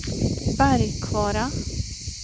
Bergkvara